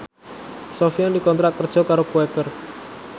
Sofyan dikontrak kerja karo Quaker